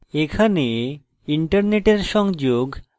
এখানে internet সংযোগ এবং